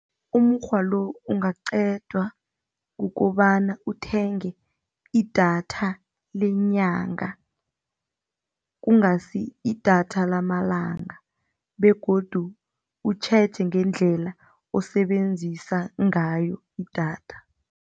Umukghwa lo ungaqedwa kukobana uthenge idatha lenyanga, kungasi idatha lamalanga begodu utjheje ngendlela osebenzisa ngayo idatha.